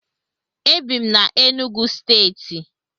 Ebi m na Enugwu stééti